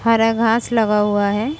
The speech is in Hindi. हरा घास लगा हुआ है|